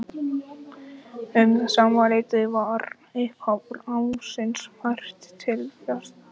Um sama leyti var upphaf ársins fært til fyrsta janúar.